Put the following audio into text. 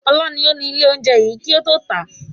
Ọlá ni ó ní ilé oúnjẹ yìí kì ó tó ta.